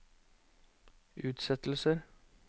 utsettelser